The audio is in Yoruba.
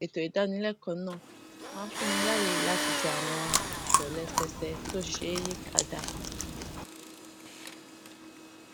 ètò ìdánilẹkọọ náà máa ń fún mi láyè láti ṣe àwọn ìtòlẹsẹẹsẹ tó ṣeé yí padà